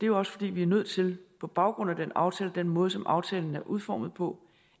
jo også fordi vi er nødt til på baggrund af den aftale og den måde som aftalen er udformet på